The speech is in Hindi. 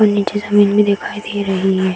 और नीचे जमीन भी दिखाई दे रही है।